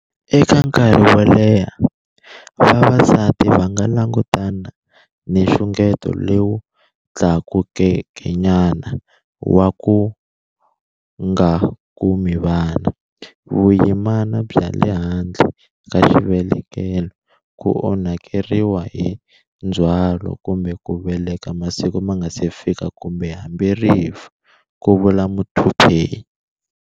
Eka nkarhi wo leha, vavasati va nga langutana ni nxungeto lowu tlakukekenyana wa ku nga kumi vana, vuyimana bya le handle ka xivelekelo, ku onhakeriwa hi ndzhwalo kumbe ku veleka masiku ma nga si fika kumbe hambi rifu, ku vula Muthuphei.